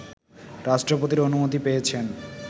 রাষ্ট্রপতির অনুমতি পেয়েছেন